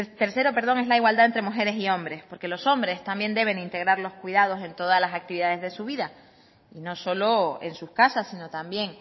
tercero es la igualdad entre mujeres y hombres porque los hombres también deben integrar los cuidados en todas las actividades de su vida y no solo en sus casas sino también